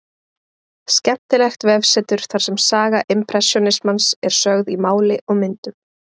Skemmtilegt vefsetur þar sem saga impressjónismans er sögð í máli og myndum.